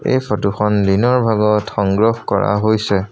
এই ফটোখন দিনৰ ভাগত সংগ্ৰহ কৰা হৈছে।